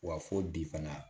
Wa fo bi fana